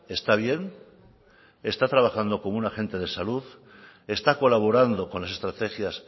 está bien está trabajando como un agente de salud está colaborando con las estrategias